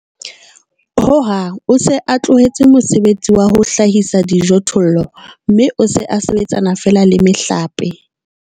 Ho hang o se a tlohetse mosebetsi wa ho hlahisa dijothollo, mme o se a sebetsana feela le mehlape.